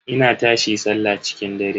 Ina tashi sallah cikin dare.